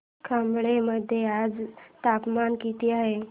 खंबाळे मध्ये आज तापमान किती आहे